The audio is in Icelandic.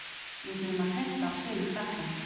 Við þurfum að treysta á sigur Frakklands.